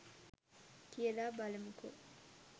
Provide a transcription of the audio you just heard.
කියලා බලමුකෝ